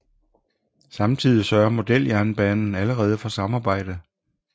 Samtidig sørgede Modeljernbanen allerede for samarbejde